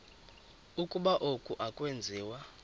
ukuba oku akwenziwa